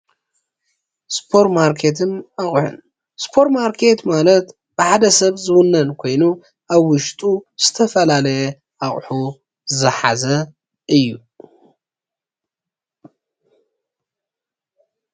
ስፖር ማርኬትን ኣቁሑን፡- ስፖር - ማርኬት ማለት ብሓደ ሰብ ዝውነን ኮይኑ ኣብ ውሽጡ ዝፈላለዩ ኣቁሑት ዝሓዘ እዩ፡፡